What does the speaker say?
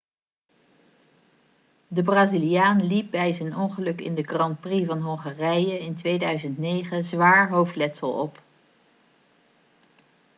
de braziliaan liep bij zijn ongeluk in de grand prix van hongarije in 2009 zwaar hoofdletsel op